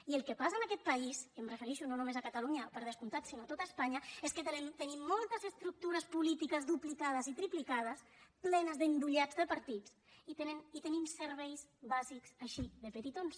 i el que passa en aquest país i em refereixo no només a catalunya per descomptat sinó a tot espanya és que tenim moltes estructures polítiques duplicades i triplicades plenes d’endollats de partits i tenim serveis bàsics així de petitons